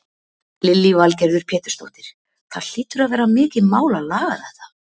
Lillý Valgerður Pétursdóttir: Það hlýtur að vera mikið mál að laga þetta?